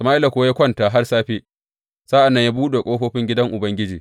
Sama’ila kuwa ya kwanta har safe, sa’an nan ya buɗe ƙofofin gidan Ubangiji.